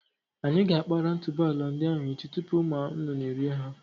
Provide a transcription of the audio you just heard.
Anyị ga-akpara otuboala ndị ahụ echi tupu ụmụ nnụnụ erié ha.